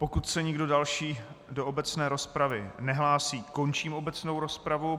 Pokud se nikdo další do obecné rozpravy nehlásí, končím obecnou rozpravu.